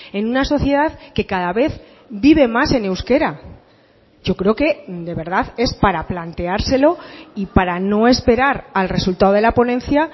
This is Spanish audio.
en una sociedad que cada vez vive más en euskera yo creo que de verdad es para planteárselo y para no esperar al resultado de la ponencia